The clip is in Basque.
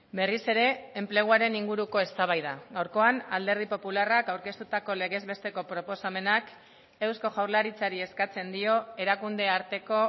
berriz ere enpleguaren inguruko eztabaida gaurkoan alderdi popularrak aurkeztutako legez besteko proposamenak eusko jaurlaritzari eskatzen dio erakunde arteko